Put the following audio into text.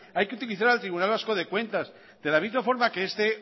hay que utilizar al tribunal vasco de cuentas de la misma forma que este